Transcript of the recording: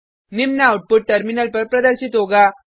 निम्न output terminal पर प्रदर्शित होगा